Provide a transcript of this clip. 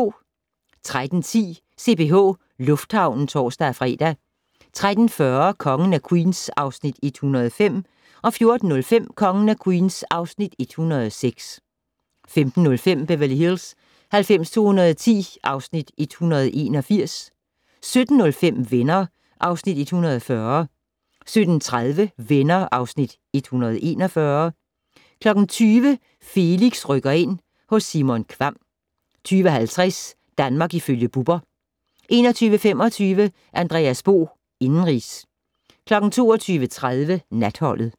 13:10: CPH Lufthavnen (tor-fre) 13:40: Kongen af Queens (Afs. 105) 14:05: Kongen af Queens (Afs. 106) 15:05: Beverly Hills 90210 (Afs. 181) 17:05: Venner (Afs. 140) 17:30: Venner (Afs. 141) 20:00: Felix rykker ind - hos Simon Kvamm 20:50: Danmark ifølge Bubber 21:25: Andreas Bo - indenrigs 22:30: Natholdet